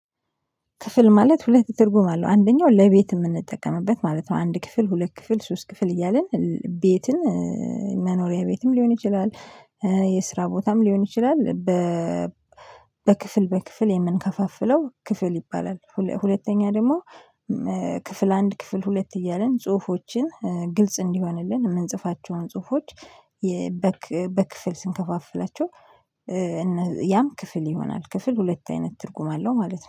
ክፍል ማለት ሁለት ትርጉም አለው አንደኛው ለቤት የምንጠቀምበት ማለት ነው። አንድ ክፍል ሁለት ክፍል ሶስት ክፍል እያልን ቤትን መኖሪያ ቤትም ሊሆን ይችላል። የስራ ቦታም ሊሆን ይችላል። በ በክፍል በክፍል የምንከፋፍለው ክፍል ይባላል። ሁለተኛ ደግሞ ክፍል አንድ ክፍል ሁለት እያልን ጽሁፎችን ግልጽ እንዲሆንልን የምንጽፋቸውን ጽሁፎች። በክፍል ስንከፋፍላቸው። ያም ክፍል ይሆናል ክፍል ሁለት አይነት ትርጉም አለው ማለት ነው